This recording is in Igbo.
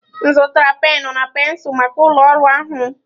M zụtara penụ na pensụl maka ụlọ ọrụ ahụ